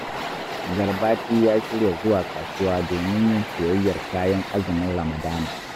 Garbati ya shirya zuwa kasuwa domin yin siyayyar kayan azumin Ramadana